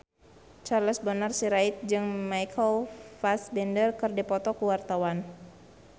Charles Bonar Sirait jeung Michael Fassbender keur dipoto ku wartawan